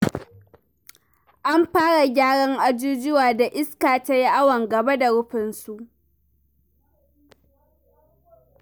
An fara gyaran ajujuwan da iska ta yi awon gaba da rufinsu.